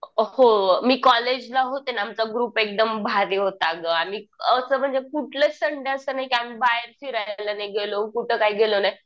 अ हो मी कॉलेजला होते ना आमचा ग्रुप एकदम भारी होता गं असं म्हणजे कुठलंच संडे असं नाही की आम्ही कुठं बाहेर फिरायला नाही गेलो. कुठं काय गेलो नाही.